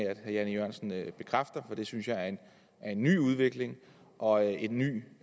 at herre jan e jørgensen bekræfter for det synes jeg er en ny udvikling og en ny